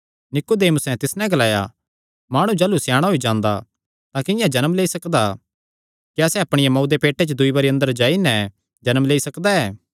नीकुदेमुसैं तिस नैं ग्लाया माणु जाह़लू स्याणा होई जांदा तां किंआं जन्म लेई सकदा क्या सैह़ अपणिया मांऊ दे पेटे च दूई बरी अंदर जाई नैं जन्म लेई सकदा ऐ